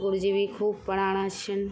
गुरूजी भी खूब पढाणा छिन।